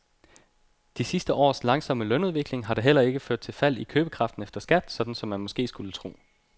De sidste års langsomme lønudvikling har da heller ikke ført til fald i købekraften efter skat, sådan som man måske skulle tro.